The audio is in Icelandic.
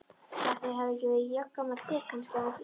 Ætli ég hafi ekki verið jafngamall þér, kannski aðeins yngri.